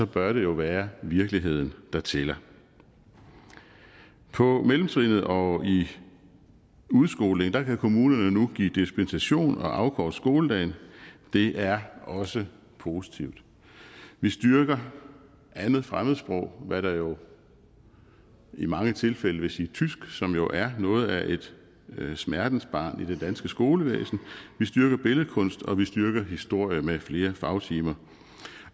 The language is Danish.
bør det jo være virkeligheden der tæller på mellemtrinnet og i udskolingen kan kommunerne nu give dispensation og afkorte skoledagen det er også positivt vi styrker det andet fremmedsprog hvad der jo i mange tilfælde vil sige tysk som jo er noget af et smertensbarn i det danske skolevæsen vi styrker billedkunst og vi styrker historie med flere fagtimer